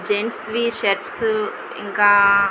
gents వి shirts ఇంకా --